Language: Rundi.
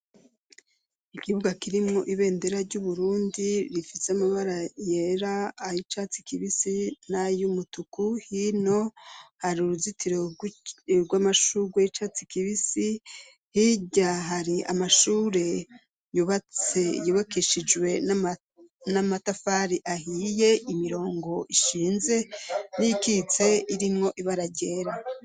Ikibuga kirimwo ibendera ry'Uburundi rifite amabara yera, ay'icatsi kibisi nay'umutuku, hino hari uruzitiro rw'amashugwe y'icatsi kibisi, hirya hari amashure yubakishijwe n'amatafari ahiye, imirongo ishinze n'iyikitse irimwo ibara ryera.